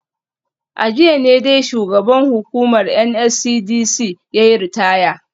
A jiya ne dai shugaban hukumar NSCDC yayi ritaya